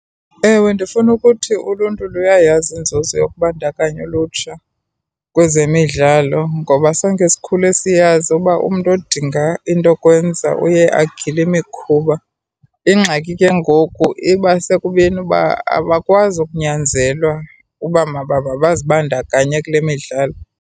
Ewe, ndifuna ukuthi uluntu luyayazi inzuzo yokubandakanya ulutsha kwezemidlalo ngoba sonke sikhule siyazi uba umntu odinga into kwenza uye agile imikhuba. Ingxaki ke ngoku iba sekubeni uba abakwazi unyanzelwa uba mabazibandakanye kule midlalo.